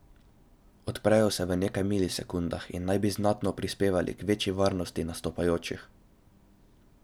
Odprejo se v nekaj milisekundah in naj bi znatno prispevali k večji varnosti nastopajočih.